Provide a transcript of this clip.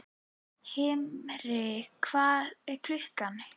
Himri, hvað er klukkan?